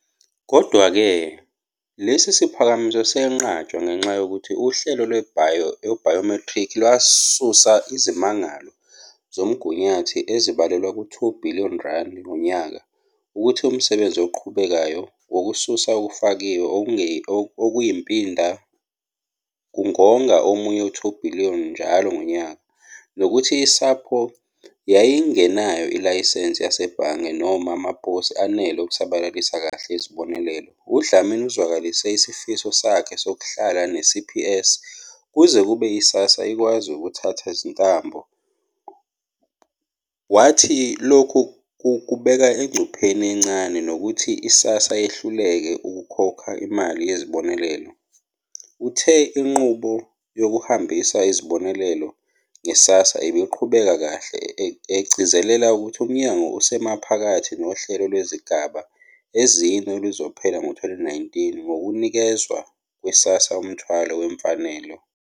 Kodwa-ke, lesi siphakamiso senqatshwa ngenxa yokuthi uhlelo lwebhayomethrikhi lwasusa izimangalo zomgunyathi ezibalelwa ku-R2 billion ngonyaka, ukuthi umsebenzi oqhubekayo wokususa okufakiwe okuyimpinda kungonga omunye u-R2 billion njalo ngonyaka, nokuthi iSAPO yayingenayo ilayisense yasebhange, noma amaposi anele okusabalalisa kahle izibonelelo. UDlamini uzwakalise isifiso sakhe sokuhlala ne-CPS kuze kube i-SASSA ikwazi ukuthatha izintambo, wathi lokhu kubeka engcupheni encane yokuthi i-SASSA yehluleke ukukhokha imali yesibonelelo. Uthe inqubo yokuhambisa izibonelelo nge-SASSA ibiqhubeka kahle, egcizelela ukuthi uMnyango usemaphakathi nohlelo lwezigaba ezine oluzophela ngo-2019 ngokunikezwa kwe-SASSA umthwalo wemfanelo.